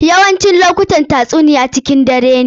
Yawancin lokutan tatsuniya cikin dare ne.